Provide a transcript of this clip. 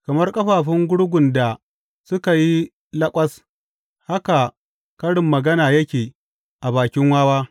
Kamar ƙafafun gurgun da suka yi laƙwas haka karin magana yake a bakin wawa.